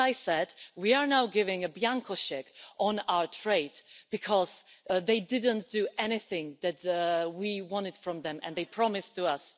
As I said, we are now giving a blank cheque on our trade, because they didn't do anything that we wanted from them and that they promised to us.